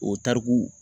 O tariku